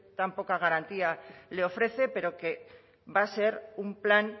tan poca garantía le ofrece pero que va a ser un plan